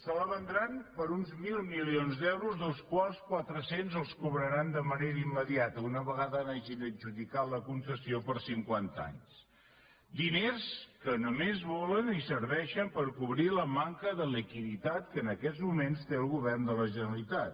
se la vendran per uns mil milions d’euros dels quals quatre cents els cobraran de manera immediata una vegada n’hagin adjudicat la concessió per a cinquanta anys diners que només volen i serveixen per cobrir la manca de liquiditat que en aquests moments té el govern de la generalitat